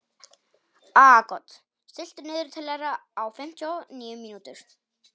Aagot, stilltu niðurteljara á fimmtíu og níu mínútur.